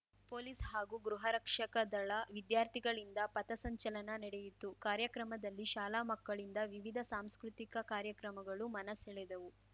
police ಹಾಗೂ ಗೃಹರಕ್ಷಕ ದಳ ವಿದ್ಯಾರ್ಥಿಗಳಿಂದ ಪಥಸಂಚಲನ ನಡೆಯಿತು ಕಾರ್ಯಕ್ರಮದಲ್ಲಿ ಶಾಲಾ ಮಕ್ಕಳಿಂದ ವಿವಿಧ ಸಾಂಸ್ಕೃತಿಕ ಕಾರ್ಯಕ್ರಮಗಳು ಮನಸೆಳೆದವು